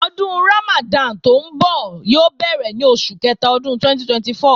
Ọdún Ramadan tí ńbọ̀ yóò bẹ̀rẹ̀ ní oṣù kẹta ọdún 2024